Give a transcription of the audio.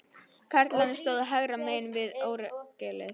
Karlarnir stóðu hægra megin við orgelið.